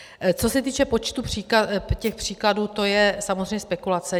Co se týče počtu těch příkladů, co je samozřejmě spekulace.